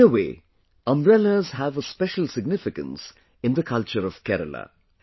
In a way, umbrellas have a special significance in the culture of Kerala